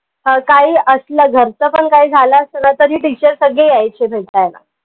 ह काही असलं घरच पन काही झालं असलं तरी teacher सगळे यायचे भेटायला